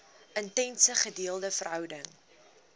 intense gedeelde verhouding